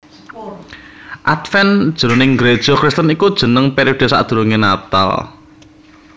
Adven jroning Gréja Kristen iku jeneng periode sadurungé Natal